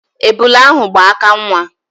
Ebula ahụ gba aka nwa.